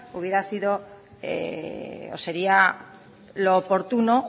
hubiera sido o sería lo oportuno